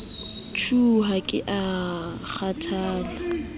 shuu ha ke a kgathala